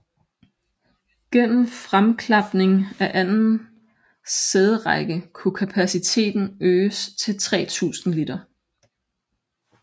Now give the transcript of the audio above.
Gennem fremklapning af anden sæderække kunne kapaciteten øges til 3000 liter